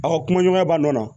Aw ka kumaɲɔgɔnya b'a nɔ na